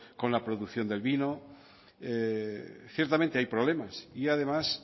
con la producción del vino ciertamente hay problemas y además